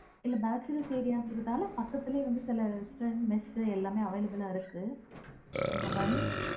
இல்ல bachelor area அப்டின்குற நாலா பக்கத்திலயே சில mess எல்லாமே available லா ஆ இருக்கு இப்ப